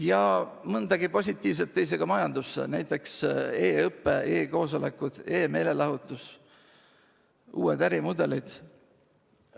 Ja mõndagi positiivset tõi siiski ka majandusse, näiteks e-õpe, e-koosolekud, e-meelelahutus, uued ärimudelid.